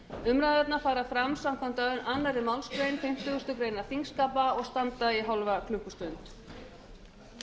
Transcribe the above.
umræðurnar fara fram samkvæmt annarri málsgrein fimmtíu greinar þingskapa og standa í hálfa klukkustund